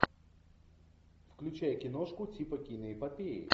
включай киношку типа киноэпопеи